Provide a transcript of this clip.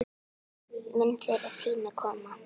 Mun þeirra tími koma?